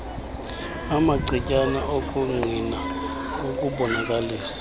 amacetyana okungqina ngokubonakalisa